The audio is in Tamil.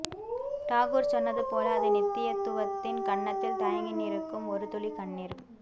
டாகூர் சொன்னதுபோல அது நித்தியத்துவத்தின் கன்னத்தில் தயங்கி நிற்கும் ஒரு துளி கண்ணீர்